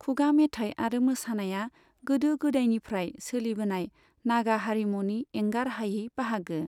खुगा मेथाइ आरो मोसानाया गोदो गोदायनिफ्राय सोलिबोनाय नागा हारिमुनि एंगारहायै बाहागो।